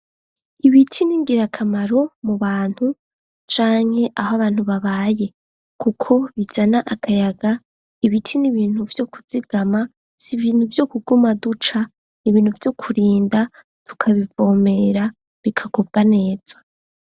Ibiti n'ingirakamaro mu bantu canke aho abantu babaye kuko bizana akayaga ibiti n'ibintu vyo kuzigama si ibintu vyo kuguma duca nibintu byo kurinda tukabivomera bikakubwa neza.